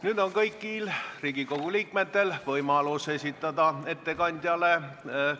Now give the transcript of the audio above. Nüüd on kõigil Riigikogu liikmetel võimalus esitada ettekandjale